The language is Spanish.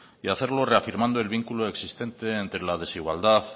y hacerlo reafirmando el vínculo existente entre la desigualdad